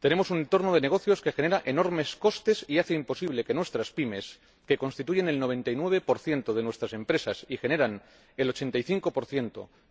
Tenemos un entorno de negocios que genera enormes costes y hace imposible que nuestras PYME —que constituyen el 99 de nuestras empresas y generan el 85